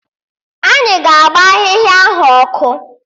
Anyị ga-agba ahịhịa ahụ ọkụ